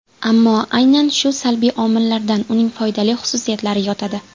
Ammo aynan shu salbiy omillarda uning foydali xususiyatlari yotadi.